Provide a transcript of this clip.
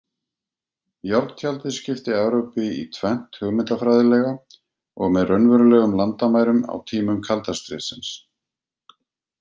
Járntjaldið skipti Evrópu í tvennt hugmyndafræðilega og með raunverulegum landamærum á tímum kalda stríðsins.